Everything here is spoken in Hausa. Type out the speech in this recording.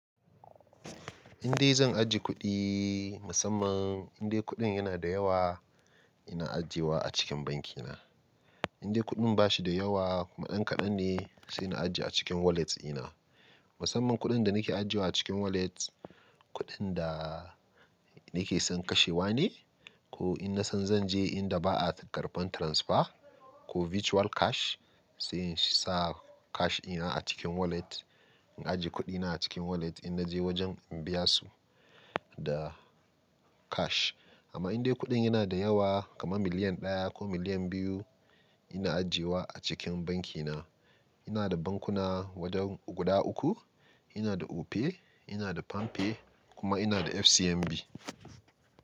Indai zan ajiye kuɗi, musamman indai kuɗin yana da yawa, ina ajiyewa a cikin banki na. Indai kuɗin ba shi da yawa kuma ɗan kaɗan ne, sai na ajiye a cikin wallets ina. Musamman kuɗin da nake ajiyewa a cikin wallet, kuɗin da nake son kashewa ne ko in na san zan je inda ba a karɓan transfer ko virtual cash, sai in sa cash ina a cikin wallet. In ajiye kuɗi na a cikin wallet in naje wajen in biya su da cash. Amma indai kuɗin yana da yawa kamar miliyan ɗaya ko miliyan biyu, ina ajiyewa a cikin banki na. Ina da bankuna wajen guda uku. Ina da Opay, ina da Palmpay kuma ina da FCMB.